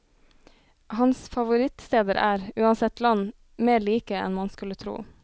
Hans favorittsteder er, uansett land, mer like enn man skulle tro.